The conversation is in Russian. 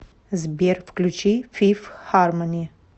сбер включи фиф хармони